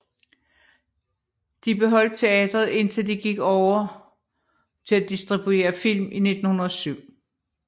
De beholdt teatret indtil de gik over til at distribuere film i 1907